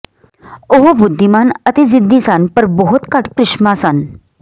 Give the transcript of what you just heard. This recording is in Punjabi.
ਉਹ ਬੁੱਧੀਮਾਨ ਅਤੇ ਜ਼ਿੱਦੀ ਸਨ ਪਰ ਬਹੁਤ ਘੱਟ ਕ੍ਰਿਸ਼ਮਾ ਸਨ